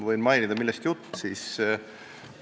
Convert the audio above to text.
Võin mainida, millest jutt käib.